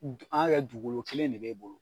D an ŋ'a kɛ dugukolo kelen de b'e bolo